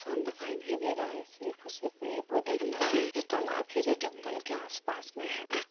इंसान दिखाई नहीं दे रहा है बहुत सिर्फ और सिर्फ पेड़ पौधे नदी है और तालाब है जो जगल में के आस पास में है।